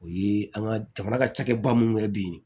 O ye an ka jamana ka cakɛba min kɛ bi